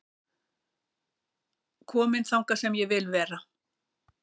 Kominn þangað sem ég vil vera